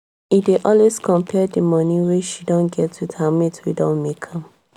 e dey always compare d money wey she don get with her mates wey don make am